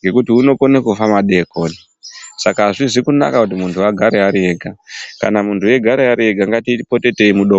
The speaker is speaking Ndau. ngekuti unokona kufa madekoni Saka azvina kunaka kuti muntu anogara Ari ega kana muntu achigara Ari ega ngatipote tichimudongorera.